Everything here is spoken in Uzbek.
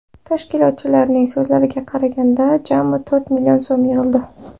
Tashkilotchilarning so‘zlariga qaraganda, jami to‘rt million so‘m yig‘ildi.